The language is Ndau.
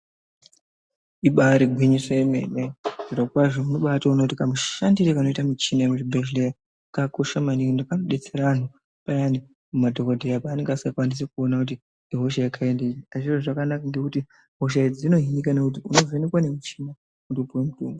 Ibaari gwinyiso yemene , zvirokwazvo unobaatoone kuti kamushandire kanoita michini yemuzvibhedhlera kakosha maningi ende kanobatsira vantu payane madhokoteya panenge asingakwanisi kuona kuti ihosha yekaindinyi. Zvinoita zviro zvakanaka maningi ngekuti hosha idzi dzinovhenekwa ngemuchini kuti upiwe mutombo.